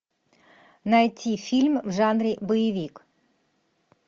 найти фильм в жанре боевик